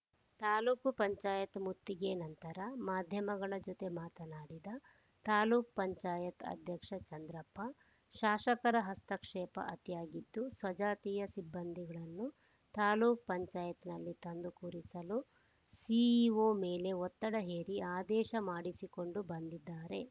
ತಾಲೂಕ್ ಪಂಚಾಯತ್ ಮುತ್ತಿಗೆ ನಂತರ ಮಾಧ್ಯಮಗಳ ಜೊತೆ ಮಾತನಾಡಿದ ತಾಲೂಕ್ ಪಂಚಾಯತ್ ಅಧ್ಯಕ್ಷ ಚಂದ್ರಪ್ಪ ಶಾಸಕರ ಹಸ್ತಕ್ಷೇಪ ಅತಿಯಾಗಿದ್ದು ಸ್ವಜಾತಿಯ ಸಿಬ್ಬಂದಿಗಳನ್ನು ತಾಲೂಕ್ ಪಂಚಾಯತ್ ನಲ್ಲಿ ತಂದು ಕೂರಿಸಲು ಸಿಇಒ ಮೇಲೆ ಒತ್ತಡ ಹೇರಿ ಆದೇಶ ಮಾಡಿಸಿಕೊಂಡು ಬಂದಿದ್ದಾರೆ